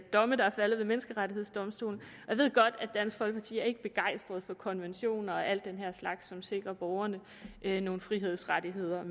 domme der er faldet ved menneskerettighedsdomstolen jeg ved godt at dansk folkeparti ikke er begejstret for konventioner og alle den her slags ting som sikrer borgerne nogle frihedsrettigheder